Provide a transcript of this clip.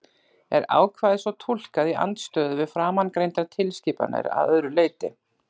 Er ákvæðið svo túlkað í andstöðu við framangreindar tilskipanir að öðru leyti?